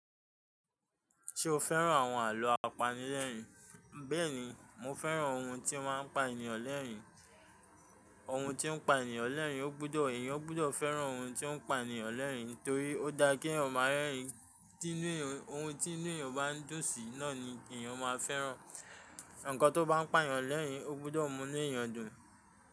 Ṣé o fẹ́ràn àwọn àlọ́ apanilẹ́rìn-ín? Bẹ́ẹ̀ni, mo fẹ́ràn ohun tí ó máa ń pa ènìyàn lẹ́rìn-ín. Ohun tí ń pa ènìyàn lẹ́rìn-ín, ó gbúdọ̀, èèyàn ó gbúdọ̀ fẹ́ràn ohun tí ó ń pa ènìyàn lẹ́rìn-ín torí ó dá kí èèyàn máa rẹ́rìn-ín. Ohun tí inú èèyàn bá ń dùn sí náà ni èèyàn máa fẹ́ràn. Ǹkan tó bá ń pa ènìyàn lẹ́rìn-ín ó gbọ́dọ̀ mú inú èèyàn dùn.